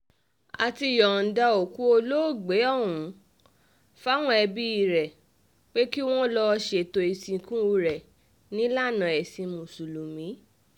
a ti yọ̀ǹda òkú olóògbé ọ̀hún fáwọn ẹbí rẹ̀ pé kí wọ́n lè ṣètò ìsìnkú rẹ̀ nílànà ẹ̀sìn mùsùlùmí